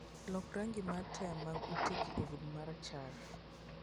loko rangi mar taya mag utegi obed marachar